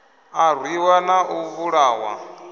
a rwiwa na u vhulahwa